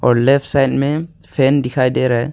और left side में fan दिखाई दे रहा है।